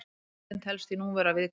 Tegundin telst því nú vera viðkvæm.